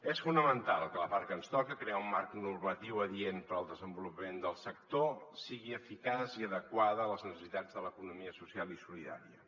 és fonamental que la part que ens toca crear un marc normatiu adient per al desenvolupament del sector sigui eficaç i adequada a les necessitats de l’economia social i solidària